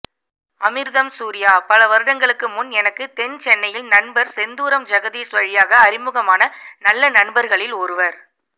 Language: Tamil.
அமிர்தம் சூரியா பல வருடங்களுக்கு முன் எனக்கு தென்சென்னையில் நண்பர் செந்தூரம் ஜெகதீஷ் வழியாக அறிமுகமான நல்ல நண்பர்களில் ஒருவர்